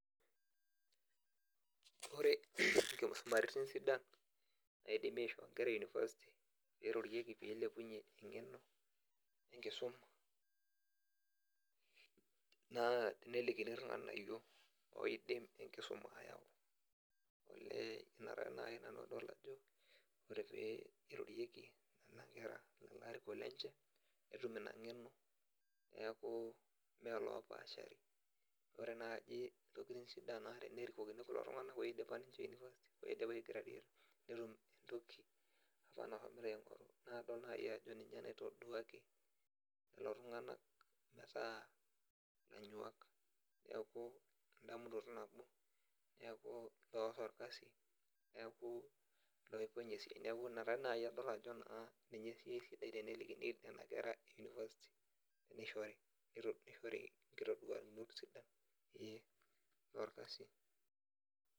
Ore inkisumaritin sidan naidimi aishoo inker e university peirorieki peilepunyie eng'eno enkisuma naa tenelikini irng'anayio oidim enkisuma ayau olee ita naai nanu adolta ajo ore pee irorieki nana kera lelo arikok lenche netum ina ng'eno niaku mee lopashari ore naaji intokiting sidan naa tenerikokini iltung'anak oidipa ninche university oidipa ae gradueta netum entoki apa nahomoito aing'oru naa adol naai ajo ninye naitoduaki lelo tung'anak metaa ilanyuak neeku endamunoto nabo niaku eorro orkasi neku iloipony esiai niaku ina taa naai adol ajo naa ninye sii esidai tenelikini nena kera e university neishori neit neishori inkitoduakinot sidan eh orkasi.